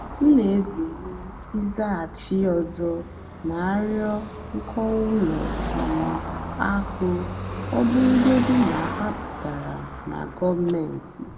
m nà-èzèré ị́zàgháchì ózì nà-àrịọ́ nkọ́wá ùlọ um àkụ́ ọ́ bụ́rụ́gódìní ná hà pụ́tárá nà gọ́ọ̀méntị́.